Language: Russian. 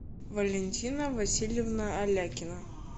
валентина васильевна алякина